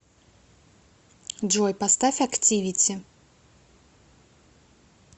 джой поставь активити